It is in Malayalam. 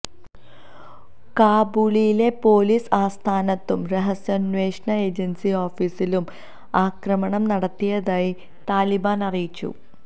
കാബൂളിലെ പോലീസ് ആസ്ഥാനത്തും രഹസ്യാന്വേഷണ ഏജന്സി ഓഫീസിലും ആക്രമണം നടത്തിയതായി താലിബാന് അറിയിച്ചു